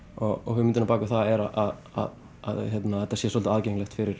hugmyndin á bak við það er að þetta sé svolítið aðgengilegt fyrir